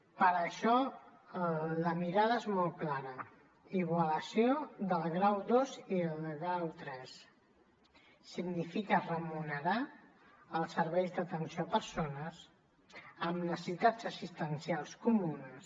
per això la mirada és molt clara igualació del grau ii i del grau iii significa remunerar els serveis d’atenció a persones amb necessitats assistencials comunes